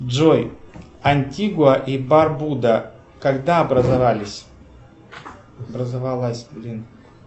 джой антигуа и барбуда когда образовались образовалась блин